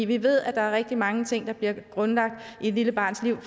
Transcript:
vi ved at der er rigtig mange ting der bliver grundlagt i et lille barns liv